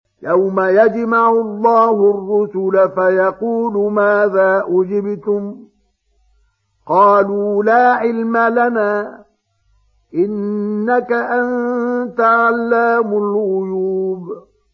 ۞ يَوْمَ يَجْمَعُ اللَّهُ الرُّسُلَ فَيَقُولُ مَاذَا أُجِبْتُمْ ۖ قَالُوا لَا عِلْمَ لَنَا ۖ إِنَّكَ أَنتَ عَلَّامُ الْغُيُوبِ